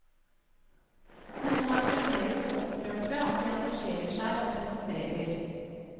Noen er fremdeles så opprørte at de engasjerer seg og demonstrerer.